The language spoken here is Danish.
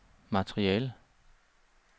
materiale